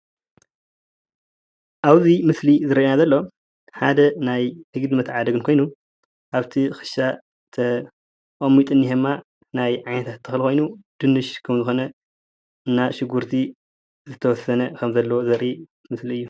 ኣብዚ ምስሊዝረአየና ዘሎ ሓደ ናይ ንግዲ መተዓዳደጊ ኮይኑ ኣብቲ ክሻ ተቀሚጡ ዝኒሀ ድማ ናይ ዓይነታት ተክሊ ኮይኑ ድንሽ ከምዝኮነ እና ሽጉርቲ ዝተወሰነ ከም ዘለዎ ዘርኢ ምስሊ እዩ፡፡